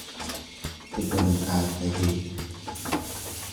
Waqti badaan kadhatey.